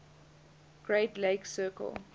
great lakes circle